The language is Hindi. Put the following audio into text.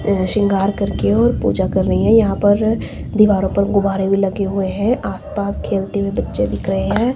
सिंगार करके और पूजा कर रही है यहां पर दीवारों पर गुब्बारे भी लगे हुए हैं आसपास खेलते हुए बच्चे दिख रहे हैं।